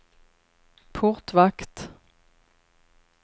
portvakt